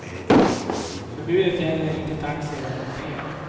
Förbudet gäller inte taxi och moped.